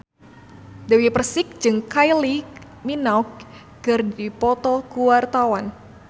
Dewi Persik jeung Kylie Minogue keur dipoto ku wartawan